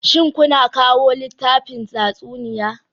Shin kuna kawo littafin tatsuniya?